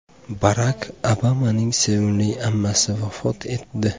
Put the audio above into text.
Barak Obamaning sevimli ammasi vafot etdi.